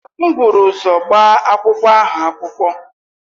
M buru ụzọ gbaa akwụkwọ ahụ akwụkwọ.